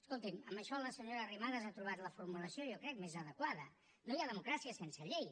escolti’m en això la senyora arrimadas ha trobat la formulació jo crec més adequada no hi ha democràcia sense llei